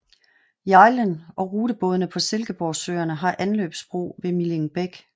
Hjejlen og rutebådene på Silkeborgsøerne har anløbsbro ved Millingbæk